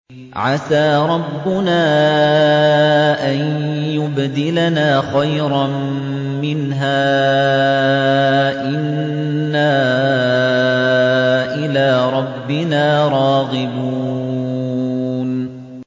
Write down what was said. عَسَىٰ رَبُّنَا أَن يُبْدِلَنَا خَيْرًا مِّنْهَا إِنَّا إِلَىٰ رَبِّنَا رَاغِبُونَ